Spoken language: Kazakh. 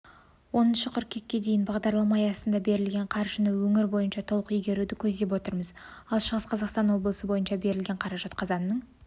оныншы қыркүйекке дейін бағдарлама аясында берілген қаржыны өңір бойынша толық игеруді көздеп отырмыз ал шығыс қазақстан облысы бойынша берілген қаражат қазанның